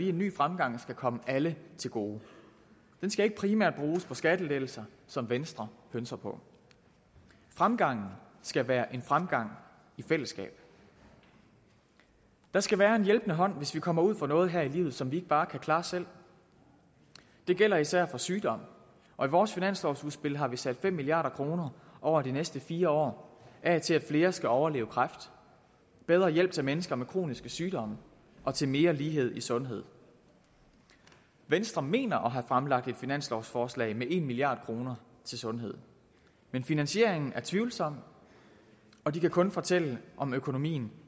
en ny fremgang skal komme alle til gode den skal ikke primært bruges på skattelettelser som venstre pønser på fremgangen skal være en fremgang i fællesskab der skal være en hjælpende hånd hvis vi kommer ud for noget her i livet som vi ikke bare kan klare selv det gælder især for sygdom og i vores finanslovsudspil har vi sat fem milliard kroner over de næste fire år af til at flere skal overleve kræft bedre hjælp til mennesker med kroniske sygdomme og til mere lighed i sundhed venstre mener at have fremlagt et finanslovsforslag med en milliard kroner til sundhed men finansieringen er tvivlsom og de kan kun fortælle om økonomien